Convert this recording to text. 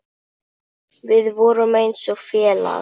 Við vorum eins og félag.